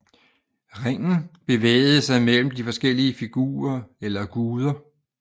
Ringen bevægede sig mellem de forskellige figurer eller guder